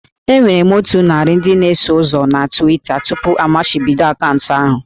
Enwere m otu narị ndị na-eso ụzọ na Twitter tupu amachibido akaụntụ ahụ